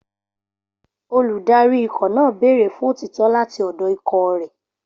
Olùdarí ikọ̀ náà béèrè fún òtítọ́ láti ọ̀dọ̀ ikọ̀ rẹ̀.